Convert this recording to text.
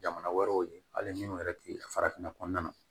Jamana wɛrɛw ye hali minnu yɛrɛ tɛ farafinna kɔnɔna na